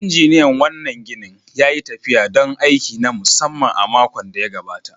Injiniyan wannan ginin ya yi tafiya don aiki na musamman a makon da ya gabata.